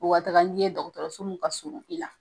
U ka taga ni ye, dɔgɔtɔrɔso mun ka surun i la.